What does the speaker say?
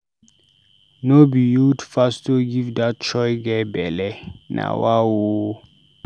No be youth pastor give dat choir girl belle? Na wa o.